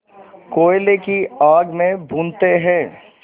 कोयले की आग में भूनते हैं